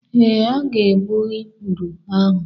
Ee, m ga-egbu ikpụrụ ahụ.